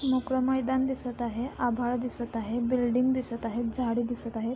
मोकळं मैदान दिसत आहे आभाळ दिसत आहे बिल्डिंग दिसत आहे झाडं दिसत आहेत.